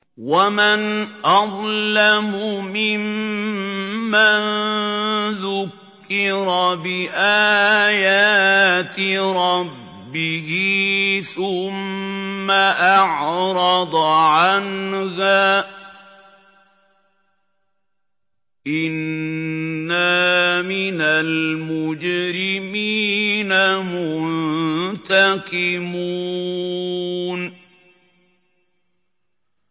وَمَنْ أَظْلَمُ مِمَّن ذُكِّرَ بِآيَاتِ رَبِّهِ ثُمَّ أَعْرَضَ عَنْهَا ۚ إِنَّا مِنَ الْمُجْرِمِينَ مُنتَقِمُونَ